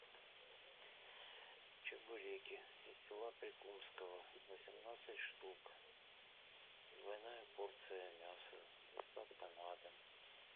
чебуреки из села прикумского восемнадцать штук двойная порция мяса доставка на дом